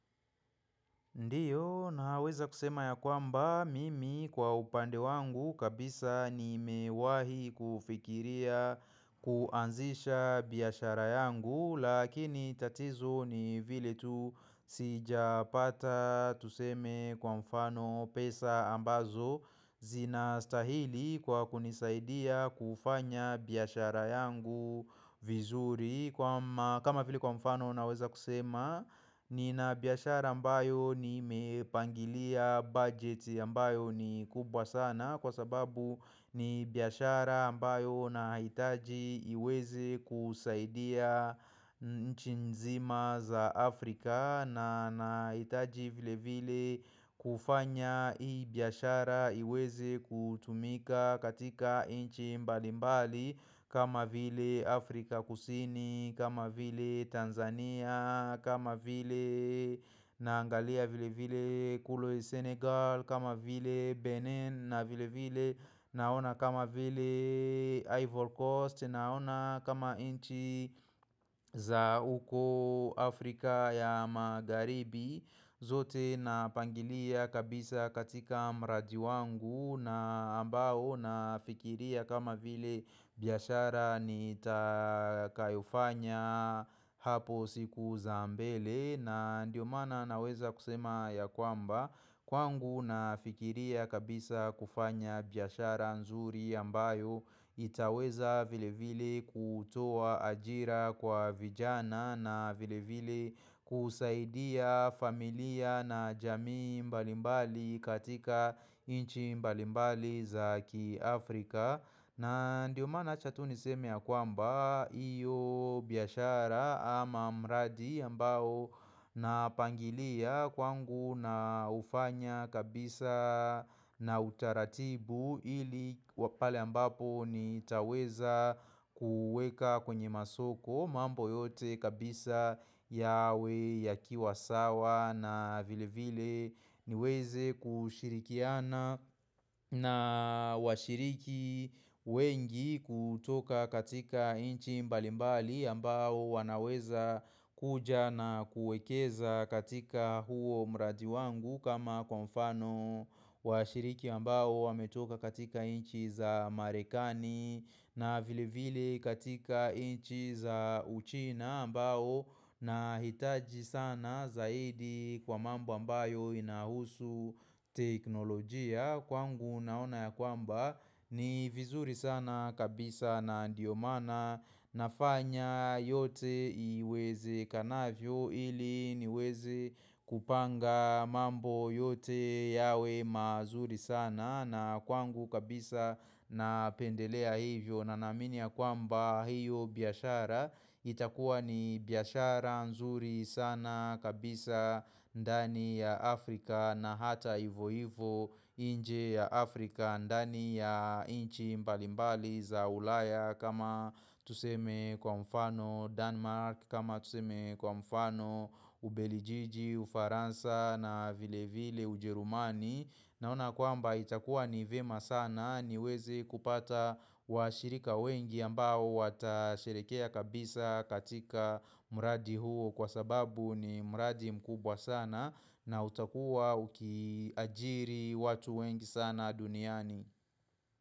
Ndiyo naweza kusema ya kwamba mimi kwa upande wangu kabisa nimewahi kufikiria kuanzisha biashara yangu Lakini tatizo ni vile tu sijapata tuseme kwa mfano pesa ambazo zinastahili kwa kunisaidia kufanya biashara yangu vizuri kama vile kwa mfano naweza kusema nina biashara ambayo nimepangilia bajeti ambayo ni kubwa sana Kwa sababu ni biashara ambayo nahitaji iweze kusaidia nchi nzima za Afrika Naninahitaji vile vile kufanya hii biashara iweze kutumika katika inchi mbali mbali kama vile Afrika kusini, kama vile Tanzania, kama vile naangalia vile vile kule Senegal, kama vile Benin, na vile vile naona kama vile Ivory Coast, naona kama inchi za huko Afrika ya Magharibi zote napangilia kabisa katika mradi wangu na ambao nafikiria kama vile biashara nitakayofanya hapo siku za mbele na ndio maana naweza kusema ya kwamba kwangu nafikiria kabisa kufanya biashara nzuri ambayo itaweza vile vile kutoa ajira kwa vijana na vile vile kusaidia familia na jamii mbalimbali katika nchi mbalimbali za kiafrika na ndio maana wacha tu niseme ya kwamba hiyo biashara ama mradi ambao napangilia kwangu na hufanya kabisa na utaratibu ili kwa pale ambapo nitaweza kuweka kwenye masoko mambo yote kabisa yawe yakiwa sawa na vile vile niweze kushirikiana na washiriki wengi kutoka katika nchi mbalimbali ambao wanaweza kuja na kuekeza katika huo mradi wangu kama kwa mfano washiriki ambao wametoka katika nchi za marekani na vile vile katika nchi za uchina ambao Nahitaji sana zaidi kwa mambo ambayo inahusu teknolojia Kwangu naona ya kwamba ni vizuri sana kabisa na ndio maana nafanya yote iwezekanavyo ili niweze kupanga mambo yote yawe mazuri sana na kwangu kabisa napendelea hivyo na naamini ya kwamba hiyo biashara itakuwa ni biashara nzuri sana kabisa ndani ya Afrika na hata hivo hivo nje ya Afrika ndani ya nchi mbalimbali za ulaya kama tuseme kwa mfano Denmark kama tuseme kwa mfano Ubelijiji, Ufaransa na vile vile Ujerumani Naona kwamba itakuwa ni vyema sana niweze kupata washirika wengi ambao watashirikia kabisa katika mradi huo kwa sababu ni mradi mkubwa sana na utakuwa ukiajiri watu wengi sana duniani.